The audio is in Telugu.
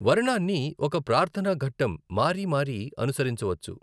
వర్ణాన్ని ఒక ప్రార్థన ఘట్టం మారిమారి అనుసరించవచ్చు.